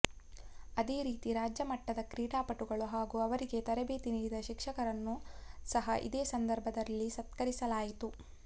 ಅದೇ ರೀತಿ ರಾಜ್ಯ ಮಟ್ಟದ ಕ್ರೀಡಾಪಟುಗಳು ಹಾಗೂ ಅವರಿಗೆ ತರಬೇತಿ ನೀಡಿದ ಶಿಕ್ಷಕರನ್ನು ಸಹ ಇದೇ ಸಂದರ್ಭದಲ್ಲಿ ಸತ್ಕರಿಸಲಾಯಿತು